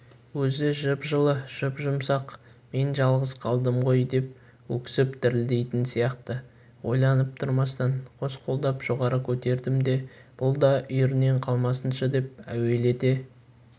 өзі жып-жылы жұп-жұмсақ мен жалғыз қалдым ғой деп өксіп дірілдейтін сияқты ойланып тұрмастан қос қолдап жоғары көтердім де бұл да үйірінен қалмасыншы деп әуелете